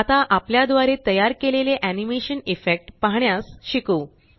आता आपल्या द्वारे तयार केलेले एनीमेशन इफेक्ट पाहण्यास शिकू